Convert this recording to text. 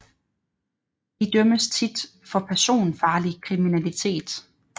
De dømmes tit for personfarlig kriminalitet